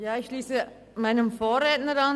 Ich schliesse mich meinem Vorredner an.